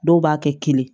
Dɔw b'a kɛ kelen ye